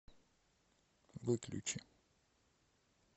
выключи